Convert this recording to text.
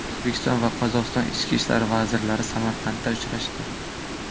O‘zbekiston va Qozog‘iston ichki ishlar vazirlari Samarqandda uchrashdi.